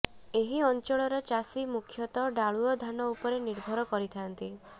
ଏହି ଅଂଚଳର ଚାଷୀ ମୁଖ୍ୟତଃ ଡାଳୁଅ ଧାନ ଉପରେ ନିର୍ଭର କରିଥାନ୍ତି